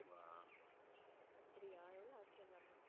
அப்படியா எவ்ளோ ஆச்சு எல்லாமே?